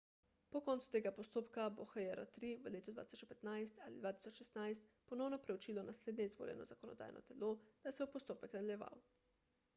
po koncu tega postopka bo hjr-3 v letu 2015 ali 2016 ponovno preučilo naslednje izvoljeno zakonodajno telo da se bo postopek nadaljeval